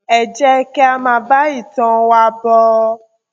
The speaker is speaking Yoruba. ẹ jẹ kí a máa bá ìtàn wa bọ